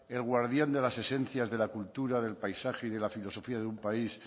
el guardián de las esencias de la cultura del paisaje y de la filosofía de un país